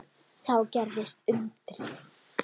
Þá gerðist undrið.